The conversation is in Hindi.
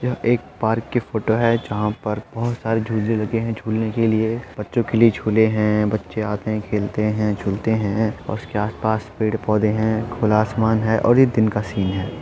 ये एक पार्क की फ़ोटो हैं जहां पर बोहट सारे झूले लगे हैं झूलने के लिए बच्चों के लिए झूले हैं बच्चे आते हैं खेलते हैं झूलते हैं और उसके आस पास पेड़-पौधे हैं खुला आसमान है और ये दिन का सीन है।